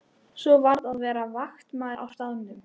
Svo varð að vera vaktmaður á staðnum.